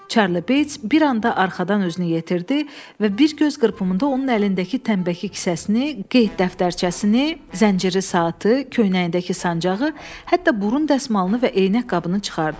Çarli Beyts bir anda arxadan özünü yetirdi və bir göz qırpımında onun əlindəki tənbəki kisəsini, qeyd dəftərçəsini, zənciri saatı, köynəyindəki sancağı, hətta burun dəsmalını və eynək qabını çıxartdı.